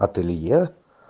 ателье